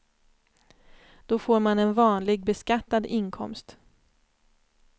Då får man en vanlig beskattad inkomst.